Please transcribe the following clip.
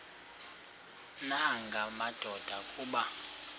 nanga madoda kuba